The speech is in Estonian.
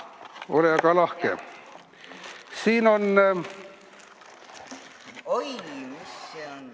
Ole aga lahke!